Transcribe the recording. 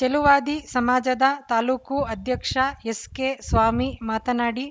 ಚೆಲುವಾದಿ ಸಮಾಜದ ತಾಲೂಕು ಅಧ್ಯಕ್ಷ ಎಸ್‌ಕೆಸ್ವಾಮಿ ಮಾತನಾಡಿ